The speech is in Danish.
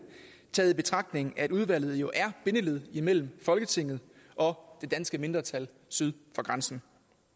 i betragtning af at udvalget jo er bindeleddet imellem folketinget og det danske mindretal syd for grænsen